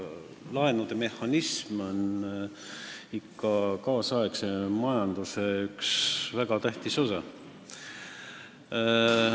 Laenumehhanism on tänapäeva majanduse väga tähtis osa.